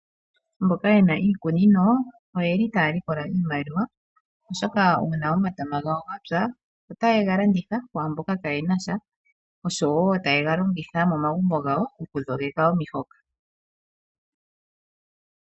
Aantu mboka yena iikunino oyeli taya likola iimaliwa oshoka uuna omatama gawo yapya ota yega landitha kwaambono kayenasha ,oshowo ta yega longitha momagumbo gawo oju shogeka omihoka.